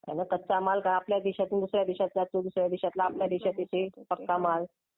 आणि कच्चा मालआपल्या देशातून काय दुसऱ्या देशात जातो. दुसऱ्या देशातला आपला आपल्या देशात येतो पक्का माल